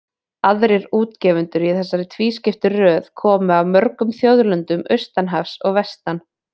Aðrir útgefendur í þessari tvískiptu röð komu af mörgum þjóðlöndum austan hafs og vestan.